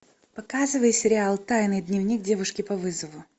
показывай сериал тайный дневник девушки по вызову